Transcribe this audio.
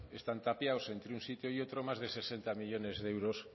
están tapiados entre un sitio y otro más de sesenta millónes de euros